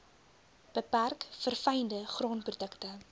beperk verfynde graanprodukte